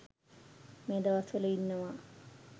මේ දවස්වල ඉන්නවා.